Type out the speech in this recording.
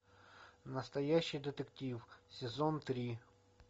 настоящий детектив сезон три